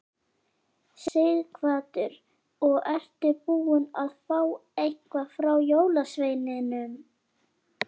Sighvatur: Og ertu búinn að fá eitthvað frá jólasveininum?